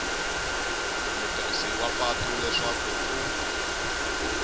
mutirhisi wa patu leswaku ku